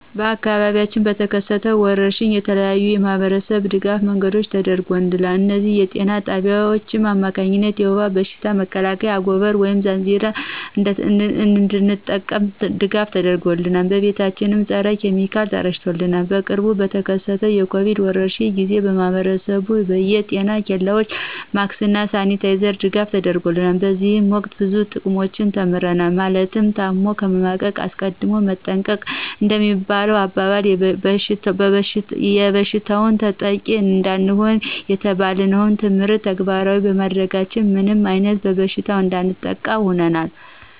በአካባቢያችን በተከሰቱ ወረርሽኝ የተለያዩ የማህበረሰብ ድጋፍ መንገዶች ተደርገውልናል እነዚህም በጤና ጣቢያዎች አማካኝነት የውባ በሽታ መከላከያ አጎበር ወይም ዛንዚራ እንድንጠቀም ድጋፍ ተደርጎልናል። ቤቶቻችን ፀረ ኪሚካል ተረጭተውልናል። በቅርቡ በተከሰተው የኮቪድ ወረርሽኝ ጊዜ ለማህብረሰቡ በየ ጤና ኬላዎች ማክስ እና ሳኒታይዘር ድጋፍ ተደርጎልናል። በዚህ ወቅት ብዙ ጥቅሞችን ተምረናል ማለትም ታሞ ከመማቀቅ አስቀድሞ መጠንቀቅ እንደሚባለሁ አባባል ይበሽታው ተጠቂ እንዳንሆን የተባልነውን ትምህርት ተግባራዊ ባማድረጋችን ምንም አይነት በሽታ እንዳያጠቃን ሁነናል